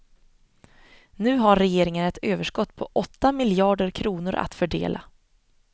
Nu har regeringen ett överskott på åtta miljarder kronor att fördela.